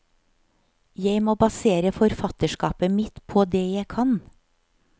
Jeg må basere forfatterskapet mitt på det jeg kan.